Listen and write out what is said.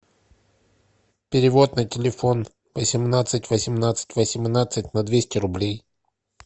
перевод на телефон восемнадцать восемнадцать восемнадцать на двести рублей